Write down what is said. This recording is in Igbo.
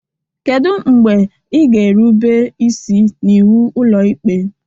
Kedu mgbe ị ga-erube isi n'iwu Ụlọikpe?